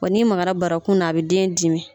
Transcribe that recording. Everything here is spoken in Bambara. Wa ni magara barakun na a bɛ den dimi.